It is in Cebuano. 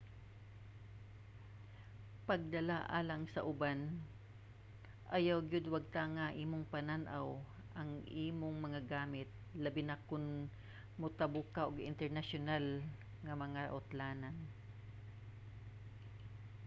pagdala alang sa uban - ayaw gyud wagtanga imong panan-aw ang imong mga gamit labi na kon motabok ka og internasyonal nga mga utlanan